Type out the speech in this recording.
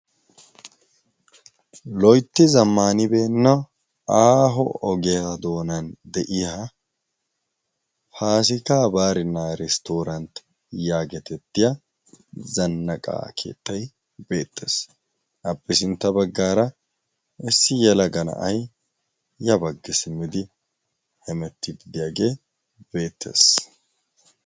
loitti zammaanibeenna aaho ogehaa doonan de7iya paasika baarinnaa risttooranti yaagetettiya zannaqaa keettai beettees abbi sintta baggaara issi yalagana7ai ya baggi simmidi hemettiid diyaagee beettees